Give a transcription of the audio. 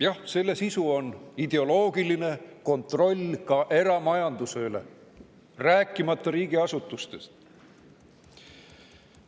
Jah, selle sisu on ideoloogiline kontroll ka eramajanduse üle, rääkimata riigiasutustest.